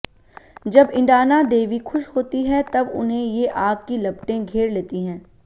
जब ईंडाणा देवी खुश होती है तब उन्हें ये आग की लपटें घेर लेती हैं